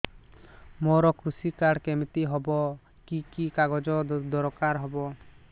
ମୋର କୃଷି କାର୍ଡ କିମିତି ହବ କି କି କାଗଜ ଦରକାର ହବ